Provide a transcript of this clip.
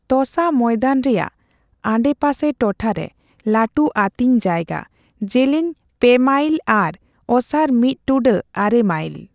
ᱛᱚᱥᱟ ᱢᱚᱭᱫᱟᱱ ᱨᱮᱭᱟᱜ ᱟᱰᱮᱹᱯᱟᱥᱮ ᱴᱚᱴᱷᱟ ᱨᱮ ᱞᱟᱹᱴᱩ ᱟᱹᱛᱤᱧᱡᱟᱭᱜᱟ, ᱡᱮᱹᱞᱮᱹᱧ ᱓ᱯᱮ ᱢᱟᱭᱤᱞ ᱟᱨ ᱚᱥᱟᱨ ᱢᱤᱛ ᱴᱩᱰᱟᱹᱜ ᱟᱨᱮ ᱢᱟᱭᱤᱞ ᱾